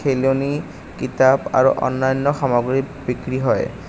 খেলনি কিতাপ আৰু অন্যান্য সামগ্ৰী বিক্ৰী হয়।